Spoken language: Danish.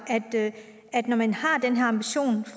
når man